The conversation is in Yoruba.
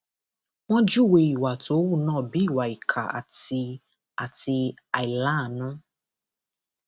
wọn júwe ìwà tó hù náà bíi ìwà ìkà àti àti àìláàánú